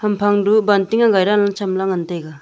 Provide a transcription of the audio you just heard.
hamphang du banting agai dang chem ley ngan taiga.